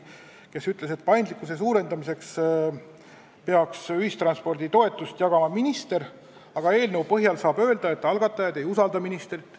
Ta ütles, et paindlikkuse suurendamiseks peaks ühistransporditoetust jagama minister, aga eelnõu põhjal saab öelda, et algatajad ei usalda ministrit.